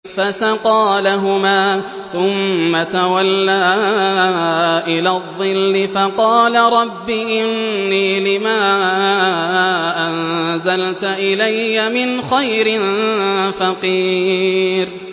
فَسَقَىٰ لَهُمَا ثُمَّ تَوَلَّىٰ إِلَى الظِّلِّ فَقَالَ رَبِّ إِنِّي لِمَا أَنزَلْتَ إِلَيَّ مِنْ خَيْرٍ فَقِيرٌ